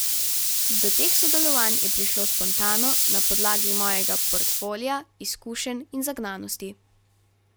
Do teh sodelovanj je prišlo spontano, na podlagi mojega portfolia, izkušenj in zagnanosti.